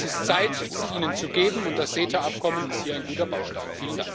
Es ist Zeit, sie ihnen zu geben, und das CETA Abkommen ist hier ein guter Baustein.